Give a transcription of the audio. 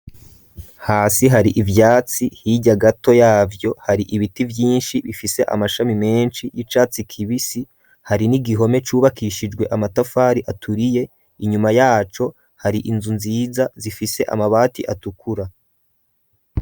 Hasi hari ivyatsi ,hirya gato yavyo hari ibiti vyinshi bifise amashami menshi y'icatsi kibisi hari n'igihome cubakishijwe amatafari aturiye, inyuma yaco hari inzu nziza zifise amabati atukura.